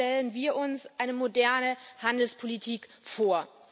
So stellen wir uns eine moderne Handelspolitik vor.